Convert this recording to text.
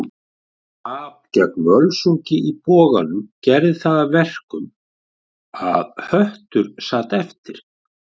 Tap gegn Völsungi í Boganum gerði það að verkum að Höttur sat eftir.